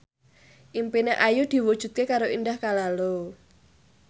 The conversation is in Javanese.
impine Ayu diwujudke karo Indah Kalalo